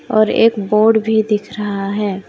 और एक बोर्ड भी दिख रहा है।